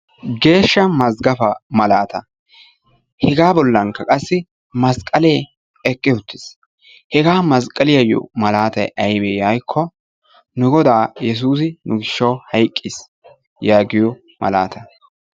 Geeshsha mazggafaa malaataa hegaa bollankka qassi masqqalee eqqi uttis. Ha masqqaliyaayyo malaatayi ayibe yaagikko nu godaa yesuusi nu gishshawu hayqqis yaagiyo malaataa.